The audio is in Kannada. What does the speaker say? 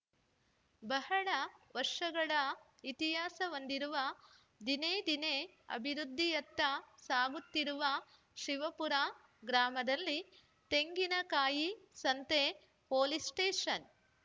ಬಹಳ ವರ್ಷಗಳ ಇತಿಹಾಸ ಹೊಂದಿರುವ ದಿನೇ ದಿನೇ ಅಭಿವೃದ್ಧಿಯತ್ತ ಸಾಗುತ್ತಿರುವ ಶಿವಪುರ ಗ್ರಾಮದಲ್ಲಿ ತೆಂಗಿನ ಕಾಯಿ ಸಂತೆ ಪೋಲೀಸ್‌ ಸ್ಟೇಷನ್‌